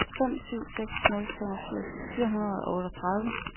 fem syv seks nul femogfirs fire hundrede og otteogtredive